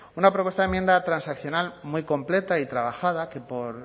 una propuesta de enmienda transaccional muy completa y trabajada que por